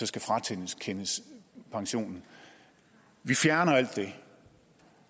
skal frakendes pensionen vi fjerner alt det